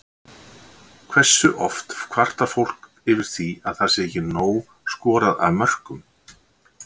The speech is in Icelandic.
Hversu oft kvartar fólk yfir því að það sé ekki nóg skorað af mörkum?